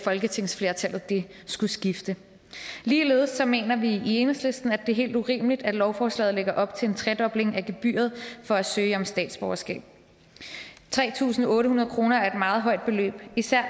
folketingsflertallet skulle skifte ligeledes mener vi i enhedslisten at det er helt urimeligt at lovforslaget lægger op til en tredobling af gebyret for at søge om statsborgerskab tre tusind otte hundrede kroner er et meget højt beløb især